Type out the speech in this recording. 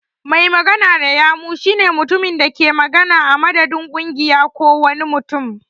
Mai magana da yawun shi ne mutumin da ke magana a madadin kungiya ko wani mutum.